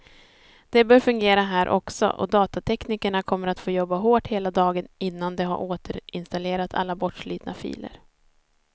Det bör fungera här också, och datateknikerna kommer att få jobba hårt hela dagen innan de har återinstallerat alla bortslitna filer.